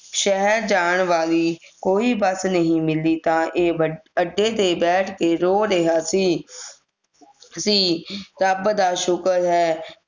ਸ਼ਹਿਰ ਜਾਨ ਵਾਲੀ ਕੋਈ ਬਸ ਨਹੀਂ ਮਿਲੀ ਤਾਂ ਇਹ ਵੱਢ ਅੱਡੇ ਤੇ ਬੈਠ ਕੇ ਰੋ ਰਿਹਾ ਸੀ ਸੀ ਰੱਬ ਦਾ ਸ਼ੁਕਰ ਹੈ